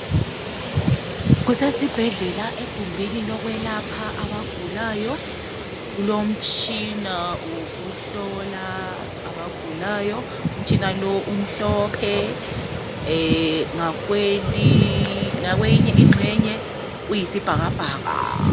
Kusesibhedlela egumbini lokwelapha abagulayo, kulomtshina wokuhlola abagulayo. Umtshina lo umhlophe ngakweyinye ingxenye uyisibhakabhaka.